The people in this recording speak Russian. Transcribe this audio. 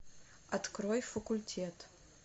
открой факультет